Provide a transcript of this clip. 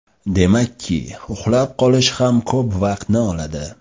Demakki, uxlab qolish ham ko‘p vaqtni oladi.